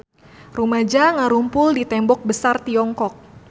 Rumaja ngarumpul di Tembok Besar Tiongkok